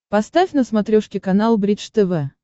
поставь на смотрешке канал бридж тв